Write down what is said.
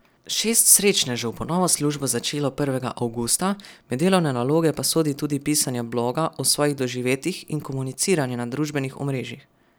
Šest srečnežev bo novo službo začelo prvega avgusta, med delovne naloge pa sodi tudi pisanje bloga o svojih doživetjih in komuniciranje na družbenih omrežjih.